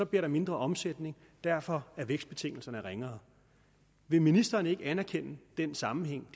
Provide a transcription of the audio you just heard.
bliver der mindre omsætning og derfor er vækstbetingelserne ringere vil ministeren ikke anerkende den sammenhæng